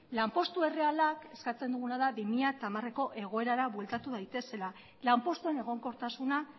lanpostu errealak eskatzen duguna da bi mila hamareko egoerara bueltatu daitezela lanpostuen egonkortasuna